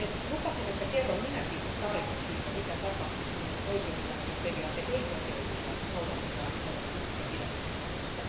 Lupasin, että minäkin kerron tarinan siitä, mitä tapahtuu, kun oikeusvaltioperiaate ei toteudu ja noudatetaan eurooppalaista pidätysmääräystä.